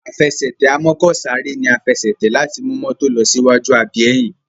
Àfẹsẹ̀tẹ̀ amọ́kọ̀sáré ní a Àfẹsẹ̀tẹ̀ láti mú mọ́tò ló sí waju àbí ẹyìn